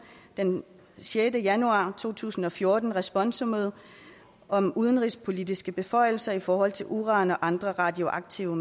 den sjette januar to tusind og fjorten responsummet om udenrigspolitiske beføjelser i forhold til uran og andre radioaktive